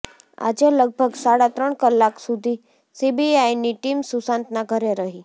આજે લગભગ સાડા ત્રણ કલાક સુધી સીબીઆઈની ટીમ સુશાંતના ઘરે રહી